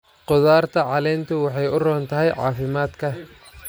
Khudaarta caleentu waxay u roon tahay caafimaadka.